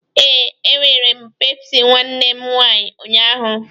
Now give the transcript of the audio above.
Ee,e were m pepsị nwanne m nwaanyi unyaahụ